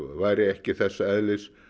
væri ekki þess eðlis